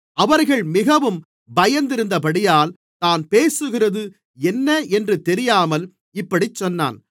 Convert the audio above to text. அவர்கள் மிகவும் பயந்திருந்தபடியால் தான் பேசுகிறது என்ன என்று தெரியாமல் இப்படிச் சொன்னான்